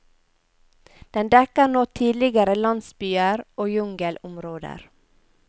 Den dekker nå tidligere landsbyer og jungelområder.